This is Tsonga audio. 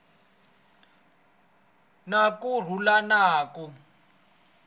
na ku rhula na ku